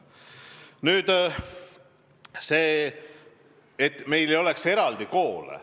Nüüd eesmärgist, et meil ei oleks eraldi koole.